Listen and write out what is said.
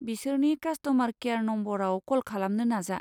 बिसोरनि customer care नम्बराव कल खालामनो नाजा।